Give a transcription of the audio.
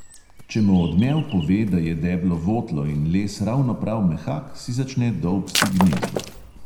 Če mo odmev pove, da je deblo votlo in les ravno prav mehak, si začne dolbsti gnezdo.